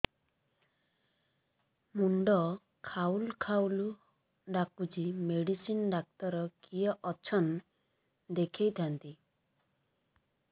ମୁଣ୍ଡ ଖାଉଲ୍ ଖାଉଲ୍ ଡାକୁଚି ମେଡିସିନ ଡାକ୍ତର କିଏ ଅଛନ୍ ଦେଖେଇ ଥାନ୍ତି